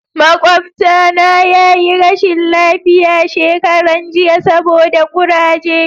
makwabata na yi rashin lafiya shekaran jiya saboda kuraje